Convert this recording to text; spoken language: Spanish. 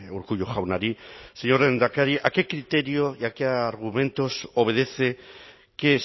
urkullu jaunari señor lehendakari a qué criterio y a qué argumentos obedece que